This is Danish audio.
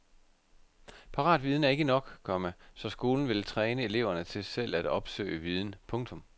Paratviden er ikke nok, komma så skolen vil træne eleverne til selv at opsøge viden. punktum